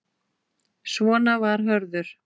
Svona var Hörður.